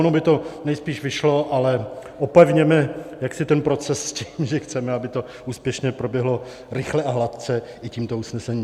Ono by to nejspíš vyšlo, ale opevněme jaksi ten proces s tím, že chceme, aby to úspěšně proběhlo rychle a hladce i tímto usnesením.